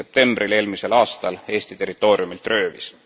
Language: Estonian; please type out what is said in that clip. septembril eelmisel aastal Eesti territooriumilt röövis.